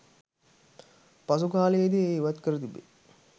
පසුකාලයේදි එය ඉවත් කර තිබේ.